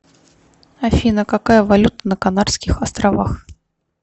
афина какая валюта на канарских островах